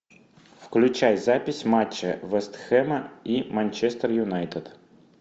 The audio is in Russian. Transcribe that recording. включай запись матча вест хэма и манчестер юнайтед